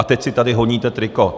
A teď si tady honíte triko.